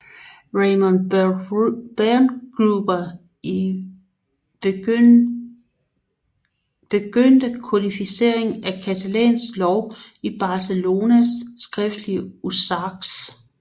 Ramon Berenguer I begyndte kodificeringen af catalansk lov i Barcelonas skriftlige Usages